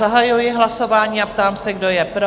Zahajuji hlasování a ptám se, kdo je pro?